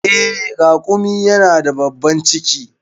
Eh, raƙumi yana da babban ciki.